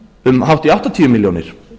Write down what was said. um hátt í áttatíu milljónir